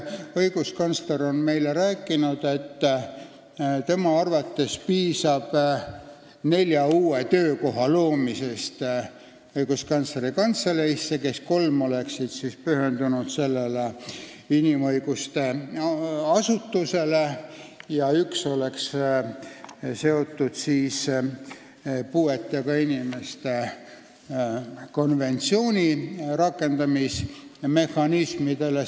Õiguskantsler on meile rääkinud, et tema arvates piisab nelja uue töökoha loomisest Õiguskantsleri Kantseleisse: kolm töötajat oleksid seotud inimõiguste asutuse funktsiooniga ja üks oleks seotud puuetega inimeste konventsiooni rakendamise mehhanismidega.